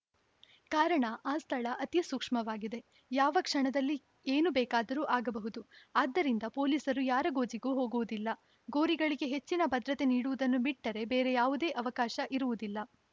ಕಾರಣ ಆ ಸ್ಥಳ ಅತಿ ಸೂಕ್ಷ್ಮವಾಗಿದೆ ಯಾವ ಕ್ಷಣದಲ್ಲಿ ಏನು ಬೇಕಾದರೂ ಆಗಬಹುದು ಆದ್ದರಿಂದ ಪೊಲೀಸರು ಯಾರ ಗೋಜಿಗೂ ಹೋಗುವುದಿಲ್ಲ ಗೋರಿಗಳಿಗೆ ಹೆಚ್ಚಿನ ಭದ್ರತೆ ನೀಡುವುದನ್ನು ಬಿಟ್ಟರೆ ಬೇರೆ ಯಾವುದೇ ಅವಕಾಶ ಇರುವುದಿಲ್ಲ